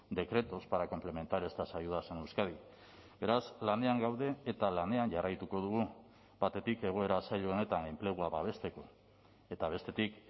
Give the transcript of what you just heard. decretos para complementar estas ayudas en euskadi beraz lanean gaude eta lanean jarraituko dugu batetik egoera zail honetan enplegua babesteko eta bestetik